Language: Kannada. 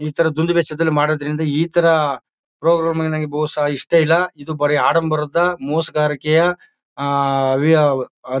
ಈ ತರ ದುಂದುವೆಚ್ಚ ದಲ್ಲಿ ಮಾಡೋದ್ರಿಂದ ಈ ತರ ಪ್ರೋಗ್ರಾಮ್ ನಂಗೆ ಬಹುಶ ಇಷ್ಟ ಇಲ್ಲ ಇದು ಬರಿ ಆಡಂಬರದ್ದ ಮೋಸಗಾರಿಕೆಯಾ ಆ ಆವಿಯಾವ್.